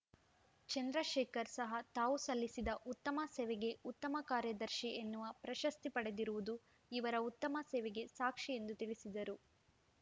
ಚಂದ್ರಶೇಖರ್‌ ಸಹ ತಾವು ಸಲ್ಲಿಸಿದ ಉತ್ತಮ ಸೇವೆಗೆ ಉತ್ತಮ ಕಾರ್ಯದರ್ಶಿ ಎನ್ನುವ ಪ್ರಶಸ್ತಿ ಪಡೆದಿರುವುದು ಇವರ ಉತ್ತಮ ಸೇವೆಗೆ ಸಾಕ್ಷಿ ಎಂದು ತಿಳಿಸಿದರು